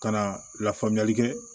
Ka na lafaamuyali kɛ